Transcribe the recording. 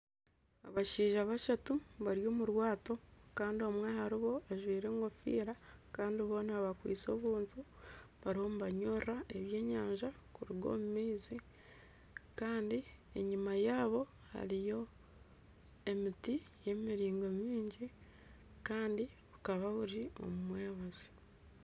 Abashaija bashatu bari omu rwato kandi omwe aharibo ajwaire engofiira, kandi boona bakwaitse obuntu, barimu nibanyurura ebyenyanja kuruga omu maizi. Kandi enyima yaabo hariyo emiti nimiraingwa mingi. Kandi bukaba buri omumwebazyo.